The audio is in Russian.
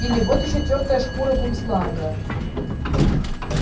или вот ещё тёртая шкура бумсланга